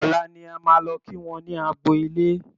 Ọ̀la ni a máa lọ kí wọ́n ní agbo ilé